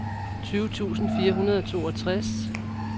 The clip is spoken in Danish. tyve tusind fire hundrede og toogtres